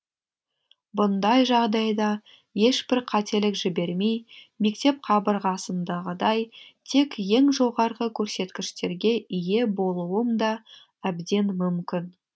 бұндай жағдайда ешбір қателік жібермей мектеп қабырғасындағыдай тек ең жоғарғы көрсеткіштерге ие болуым да әбден мүмкін